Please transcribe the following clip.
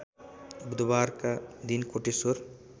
बुधबारका दिन कोटेश्वर